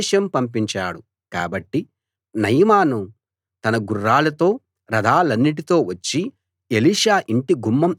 కాబట్టి నయమాను తన గుర్రాలతో రథాలన్నిటితో వచ్చి ఎలీషా యింటి గుమ్మం ఎదుట నిలిచాడు